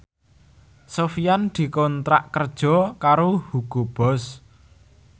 Sofyan dikontrak kerja karo Hugo Boss